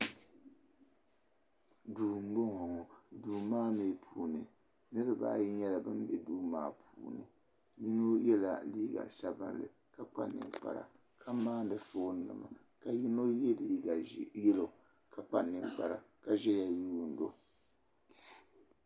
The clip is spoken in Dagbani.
Duu m boŋɔ duu maa mee puuni niriba ayi nyɛla ban be duu maa puuni yino yela liiga sabinli ka kpa ninkpara ka maani fooni nima ka yino ye liiga yelo ka kpa ninkpara ka ʒɛya yuuni o.